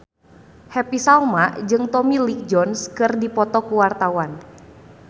Happy Salma jeung Tommy Lee Jones keur dipoto ku wartawan